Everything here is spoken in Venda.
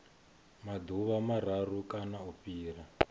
maḓuvha mararu kana u fhira